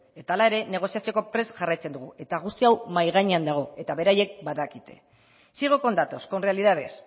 eta hala ere negoziatzeko prest jarraitzen dugu eta guzti hau mahai gainean dago eta beraiek badakite sigo con datos con realidades